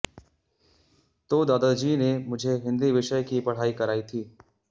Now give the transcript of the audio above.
तो दादाजी ने मुझे हिंदी विषय की पढ़ाई कराई थी